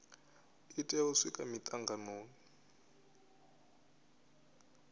i tea u swika mitanganoni